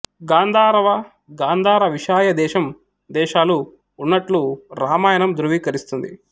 గాంధారవ గాంధార విశాయ దేశం దేశాలు ఉన్నట్లు రామాయణం ధృవీకరిస్తుంది